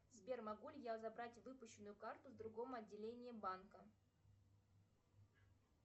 сбер могу ли я забрать выпущенную карту в другом отделении банка